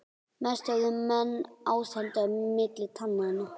Mest höfðu menn ástandið milli tannanna.